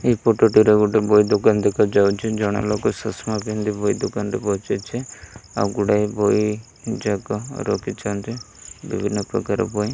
ଏହି ଫଟୋ ଟିରେ ଗୋଟେ ବହି ଦୋକାନ ଦେଖା ଯାଉଛି। ଜଣେ ଲୋକ ଚାଷମା ପିନ୍ଧି ବହି ଦୋକାନ ରେ ବସିଛି। ଆଉ ଗୋଡ଼ାଇ ବହି ଯାକ ରଖିଛନ୍ତି ବିଭିନ୍ନ ପ୍ରକାରର ବହି --